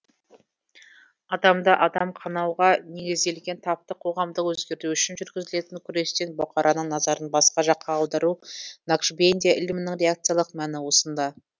адамды адам қанауға негізделген таптық қоғамды өзгерту үшін жүргізілетін күрестен бұқараның назарын басқа жаққа аудару накшбендия ілімінің реакциялық мәні осында